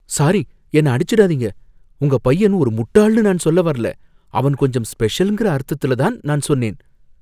Sorry! என்ன அடிச்சுடாதீங்க. உங்க பையன் ஒரு முட்டாள்னு நான் சொல்ல வரல, அவன் கொஞ்சம் ஸ்பெஷல்ங்கிற அர்த்தத்துல தான் நான் சொன்னேன்.